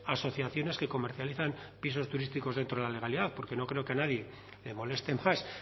asociaciones que comercializan pisos turísticos dentro de la legalidad porque no creo que a nadie le moleste más